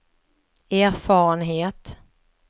erfarenhet